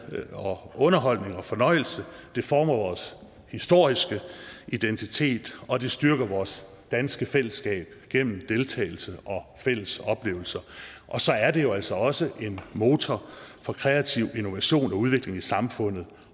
underholdning og fornøjelse det former vores historiske identitet og det styrker vores danske fællesskab gennem deltagelse og fælles oplevelser og så er det jo altså også en motor for kreativ innovation og udvikling i samfundet